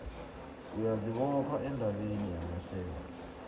uyazibopha endabeni yamashare